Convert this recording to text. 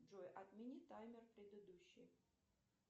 джой отмени таймер предыдущий